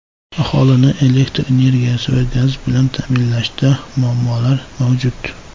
Aholini elektr energiyasi va gaz bilan ta’minlashda muammolar mavjud.